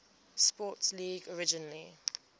sports league originally